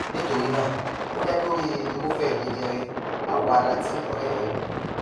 nítorí náà ó dá lórí irúfẹ jẹjẹrẹ awọ ara tí ọrẹ rẹ ní